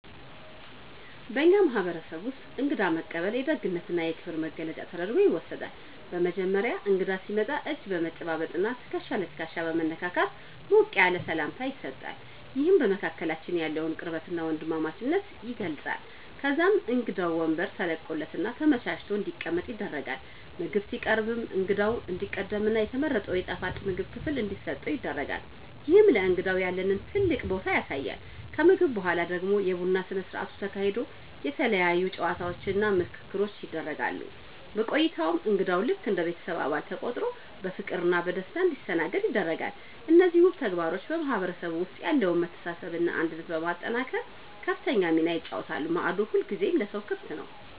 በእኛ ማህበረሰብ ውስጥ እንግዳ መቀበል የደግነትና የክብር መገለጫ ተደርጎ ይወሰዳል። በመጀመሪያ እንግዳ ሲመጣ እጅ በመጨባበጥና ትከሻ ለትከሻ በመነካካት ሞቅ ያለ ሰላምታ ይሰጣል፤ ይህም በመካከላችን ያለውን ቅርበትና ወንድማማችነት ይገልጻል። ከዛም እንግዳው ወንበር ተለቆለትና ተመቻችቶ እንዲቀመጥ ይደረጋል። ምግብ ሲቀርብም እንግዳው እንዲቀድምና የተመረጠው የጣፋጭ ምግብ ክፍል እንዲሰጠው ይደረጋል፤ ይህም ለእንግዳው ያለንን ትልቅ ቦታ ያሳያል። ከምግብ በኋላ ደግሞ የቡና ስነ ስርዓት ተካሂዶ የተለያዩ ጨዋታዎችና ምክክሮች ይደረጋሉ። በቆይታውም እንግዳው ልክ እንደ ቤተሰብ አባል ተቆጥሮ በፍቅርና በደስታ እንዲስተናገድ ይደረጋል። እነዚህ ውብ ተግባሮች በማህበረሰቡ ውስጥ ያለውን መተሳሰብና አንድነት በማጠናከር ከፍተኛ ሚና ይጫወታሉ፤ ማዕዱ ሁልጊዜም ለሰው ክፍት ነው።